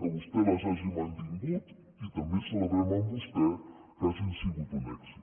que vostè les hagi mantingut i també celebrem amb vostè que hagin sigut un èxit